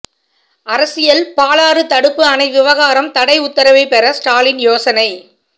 அரசியல் பாலாறு தடுப்பு அணை விவகாரம் தடை உத்தரவை பெற ஸ்டாலின் யோசனை